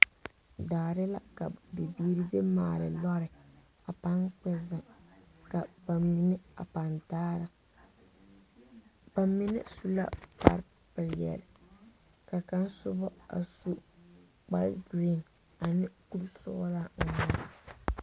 Daare la ka bibiiri de maali lɔre a pan kpɛ ka ba mine a pan dare ba mine su la kpare peɛle ka kaŋa sogo a su kpare green ane kuri sɔglo.